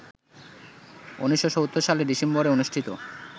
১৯৭০ সালের ডিসেম্বরে অনুষ্ঠিত